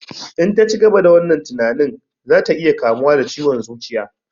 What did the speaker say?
In ta cigaba da wannan tinanin za ya iya kamuwa da ciwon zuciya